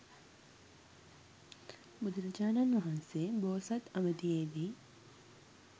බුදුරජාණන් වහන්සේ බෝසත් අවධියේදී